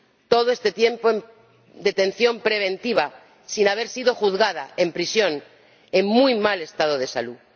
Todo este tiempo en detención preventiva, sin haber sido juzgada, en prisión, en muy mal estado de salud.